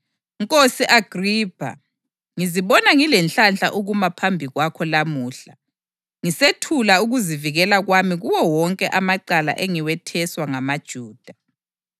“Nkosi Agripha, ngizibona ngilenhlanhla ukuma phambi kwakho lamuhla ngisethula ukuzivikela kwami kuwo wonke amacala engiwetheswa ngamaJuda,